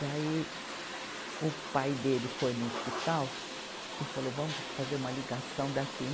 Daí, o pai dele foi no hospital e falou, vamos fazer uma ligação daqui.